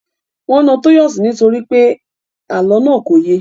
Wọn na Tọ́yọ̀sí nítorí pé àlọ́ náà kò ye